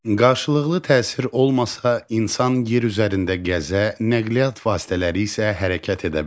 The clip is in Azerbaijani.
Qarşılıqlı təsir olmasa, insan yer üzərində gəzə, nəqliyyat vasitələri isə hərəkət edə bilməz.